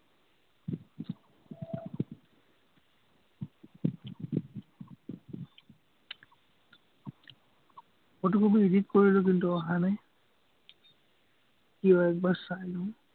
photo-copy edit কৰিলো, কিন্তু, অহা নাই কিয়, একবাৰ চাই লওঁ